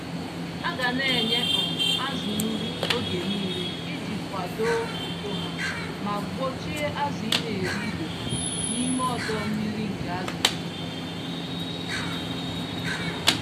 Aga nenye um azụ nri oge nile iji kwadoo uto ha, ma gbochie azụ ineri ibe ha, n'ime ọdọ-mmiri nke azụ juputara.